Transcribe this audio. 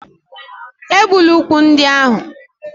Egbula úkwù ndị ahụ